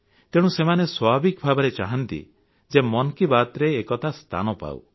ତେଣୁ ସେମାନେ ସ୍ୱାଭାବିକ ଭାବରେ ଚାହାନ୍ତି ଯେ ମନ କି ବାତରେ ଏକଥା ସ୍ଥାନ ପାଉ